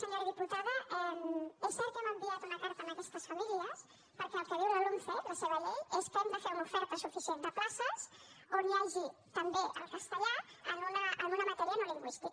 senyora diputada és cert que hem enviat una carta a aquestes famílies perquè el que diu la lomce la seva llei és que hem de fer una oferta suficient de places on hi hagi també el castellà en una matèria no lingüística